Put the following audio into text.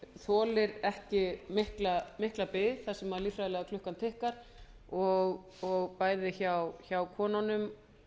þolir ekki mikla bið þar sem lyfseðlaklukkan tifar og bæði hjá konunum